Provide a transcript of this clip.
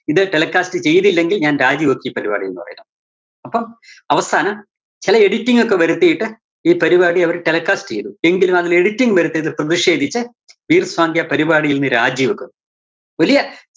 ഇത് telecast ചെയ്തില്ലെങ്കില്‍ ഞാന്‍ രാജിവെച്ച് ഈ പരിപാടിന്ന് പറയുക. അപ്പം അവസാനം ചെല editing ഒക്കെ വരുതീട്ട് ഈ പരിപാടി അവര് telecast ചെയ്തു. എങ്കിലും അതില്‍ editing വരുത്തീതില്‍ പ്രതിഷേധിച്ച് പരിപാടിയില്‍ നിന്ന് രാജി വെക്കുന്നു. വലിയ